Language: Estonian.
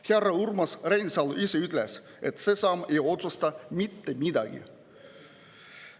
Härra Urmas Reinsalu ise ütles, et see samm ei otsusta mitte midagi.